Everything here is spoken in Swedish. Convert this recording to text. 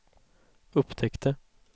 upptäckte